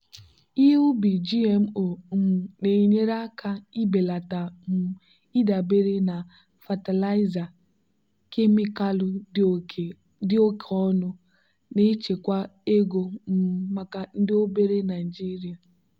ihe ubi gmo um na-enyere aka ibelata um ịdabere na fatịlaịza kemịkalụ dị oke ọnụ na-echekwa ego um maka ndị obere naijiria.